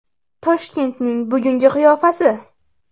Toshkentning bugungi qiyofasi.